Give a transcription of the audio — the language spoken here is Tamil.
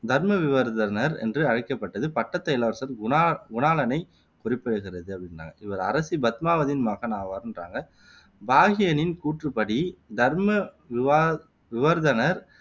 தர்மவிவர்தனர் என்று அழைக்கப்பட்டது பட்டத்து இளவரசர் குணா குணாளனை குறிப்பிடுகிறது அப்படின்றாங்க. இவர் அரசி பத்மாவதியின் மகன் ஆவார்ன்றாங்க. பாகியனின் கூற்று படி தர்மவிவா விவர்தனர்